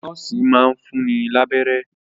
Nọ́ọ̀sì máa ń fún ni lábẹ́rẹ́